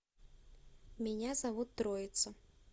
меня зовут троица